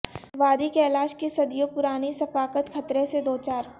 وادی کیلاش کی صدیوں پرانی ثقافت خطرہ سے دوچار